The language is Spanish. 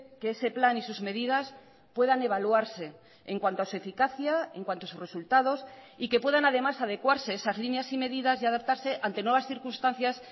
que ese plan y sus medidas puedan evaluarse en cuanto a su eficacia en cuanto a sus resultados y que puedan además adecuarse esas líneas y medidas y adaptarse ante nuevas circunstancias